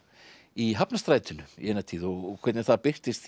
í hafnarstrætinu í eina tíð og hvernig það birtist